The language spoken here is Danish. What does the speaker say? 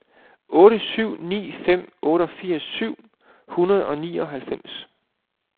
otte syv ni fem otteogfirs syv hundrede og nioghalvfems